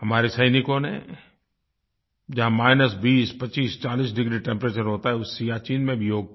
हमारे सैनिकों ने जहाँ माइनस 20 25 40 डिग्री टेम्परेचर होता है उस सियाचिन में भी योग किया